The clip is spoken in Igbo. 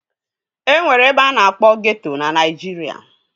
E nwere ebe a na-akpọ ghetto na Naịjirịa